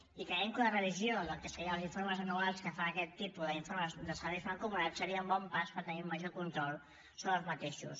i creiem que una revisió del que serien els informes anuals que fan aquest tipus de serveis mancomunats seria un bon pas per tenir un major control sobre aquests